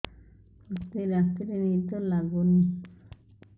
ମୋତେ ରାତିରେ ନିଦ ଲାଗୁନି